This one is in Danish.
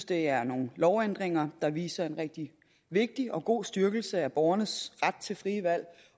det er nogle lovændringer der viser en rigtig vigtig og god styrkelse af borgernes ret til frie valg